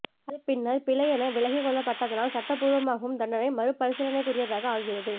அது பின்னர் பிழை என விலக்கிக்கொள்ளப்பட்டதனால் சட்டபூர்வமாகவும் தண்டனை மறுபரிசீலனைக்குரியதாக ஆகிறது